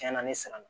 Cɛn na ne siran na